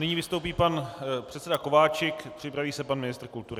Nyní vystoupí pan předseda Kováčik, připraví se pan ministr kultury.